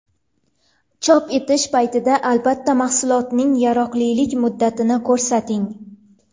Chop etish paytida, albatta, mahsulotning yaroqlilik muddatini ko‘rsating.